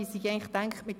Sehe ich das richtig?